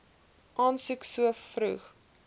aansoek so vroeg